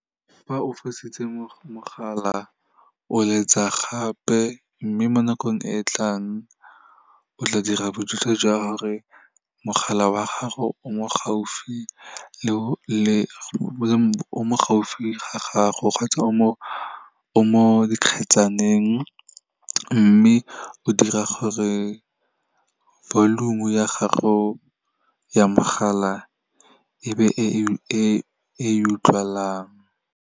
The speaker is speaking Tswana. Fa o fositse mogala, o letsa gape, mme mo nakong e e tlang, o tla dira bojotlhe jwa gore mogala wa gago o mo gaufi ga gago kgotsa o mo dikgetsaneng, mme o dira gore volume-u ya gago ya mogala, e be e e utlwalang.